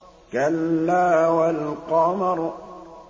كَلَّا وَالْقَمَرِ